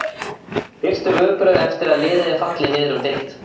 Fyrstu viðbrögð eftir að liðið er fallið niður um deild?